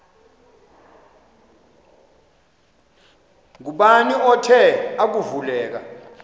ngubani othe akuvuleka